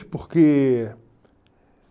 Porque...